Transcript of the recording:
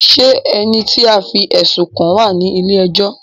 Ṣé ẹni tí a fí ẹ̀sùn kàn wá ní ilé ẹjọ́?